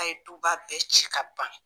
A ye duba bɛɛ ci k'a ban